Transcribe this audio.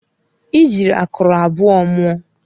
I ji akụrụ abụọ mụọ.